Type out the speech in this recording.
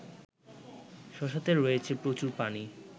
শশাতে রয়েছে প্রচুর পানি